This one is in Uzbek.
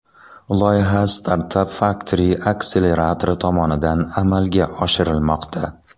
Loyiha StartupFactory akseleratori tomonidan amalga oshirilmoqda.